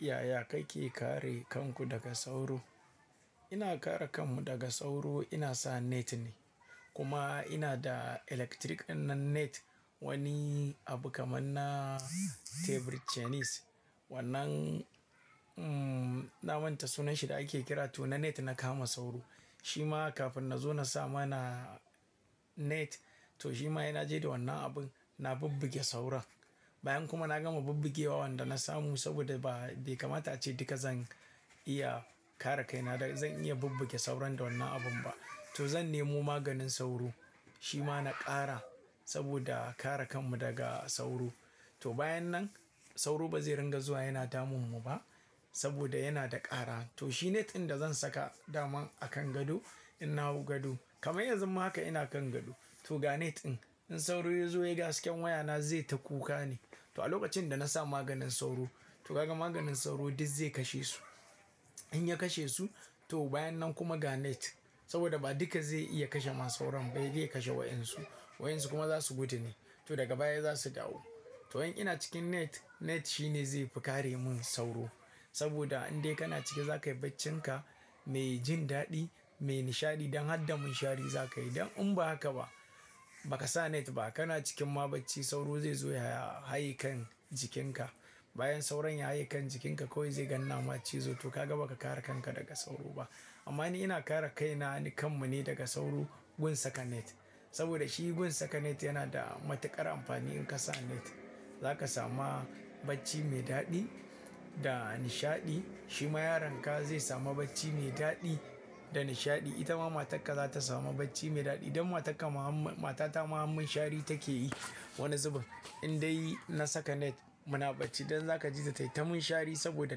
Yaya kake kare kanku daga sauro? Ina kare kanmu daga sauro, ina sa net ne kuma ina da lantarki ɗinnan net. Wani abu kamar na tebur cines. Wannan, mm, na manta sunan shi da ake kira. To na net na kama sauro. Shima kafin na zo na samu na net, to shima ina je da wannan abun na bubbuge sauran. Bayan kuma na gama bubbugewa wannan da na samu saboda ba, bai kamata ce duka zan iya kare kaina da zan iya bubbuge sauran da wannan abun ba. To zan nemo maganin sauro, shi ma na ƙara saboda kare kanmu daga sauro. To bayan nan sauro ba zai ringa zuwa yana damunmu ba saboda yana da ƙara. To shi net ɗin da zan saka daman a kan gado ina wu gado. Kamar yanzu ma haka ina kan gado. To ga net ɗin in sauro ya zo ya ga hasken wayana zai ta kuka ne. To a lokacin da na sa maganin sauro, to ka ga maganin sauro duk zai kashe su. In ya kashe su, to bayan nan kuma ga net saboda ba duka zai iya kashe ma sauran ba, dai zai kashe waɗansu. Waɗansu kuma za su gudu ne. To daga baya za su dawo. To in ina cikin net, net shi ne zai fi kare mun sauro saboda in dai kana cike za ka yi bacinka mai jin daɗi, mai nishaɗi don har damun shari za ka yi. Don in ba haka ba, ba ka sa net ba kana cikin ma bacci sauro zai zo ya haye kan jikinka. Bayan sauron ya haye kan jikinka kawai zai gan nama cizo. To ka ga ba ka kare kanka daga sauro ba. Amma ni ina kare kaina ne, kanmu ne daga sauro gun saka net saboda shi gun saka net yana da matuƙar amfani. In ka sa net za ka samu bacci mai daɗi da nishaɗi. Shima yaronka zai samu bacci mai daɗi da nishaɗi. Ita ma matarka za ta samu bacci mai daɗi don matarka maha-- matata ma mun shari take yi. Wani zuba in dai na saka net muna bacci. Don za ka ji ta taitama shari saboda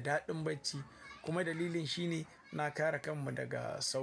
daɗin bacci kuma dalilin shi ne na kare kanmu daga sauro.